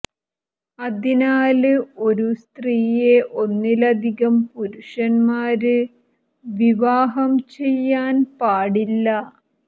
അതിനാല് ഒരു സ്ത്രീയെ ഒന്നിലധികം പുരുഷന്മാര് വിവാഹം ചെയ്യാന് പാടില്ല